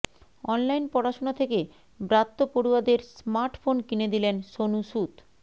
online পড়াশুনা থেকে ব্রাত্য পড়ুয়াদের স্মার্টফোন কিনে দিলেন সোনু সুদ